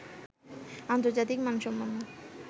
আন্তর্জাতিক মানসম্পন্ন